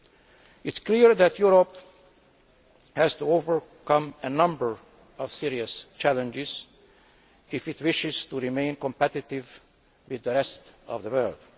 It is clear that Europe has to overcome a number of serious challenges if it wishes to remain competitive with the rest of the world.